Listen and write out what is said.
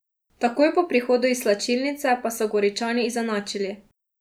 Takoj po prihodu iz slačilnice pa so Goričani izenačili.